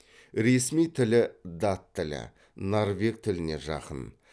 ресми тілі дат тілі норвег тіліне жақын